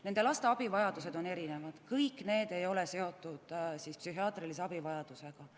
Nende laste abivajadused on erinevad, kõik ei ole seotud psühhiaatrilise abivajadusega.